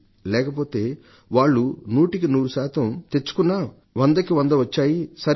లేకపోతే వాళ్లు నూటికి నూరు తెచ్చుకున్నా వందకి వంద వచ్చాయి సరే